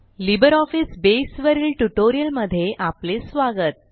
LibreOffice बसे वरील ट्युटोरियलमध्ये आपले स्वागत